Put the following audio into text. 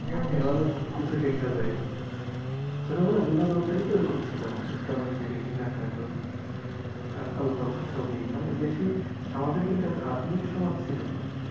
অনেক কিছু শেখা যাই ছোটবেলায় বিনোদনটায় তো ওরকম ছিল আমাদের tom and jerry Meena cartoon alpha alpha ছবি মানে বেশি আমাদের কিন্তু এত আধুনিক সমাজ ছিলনা।